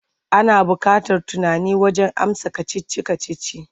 Ana buƙatar tunani wajen amsa kacici-kacici.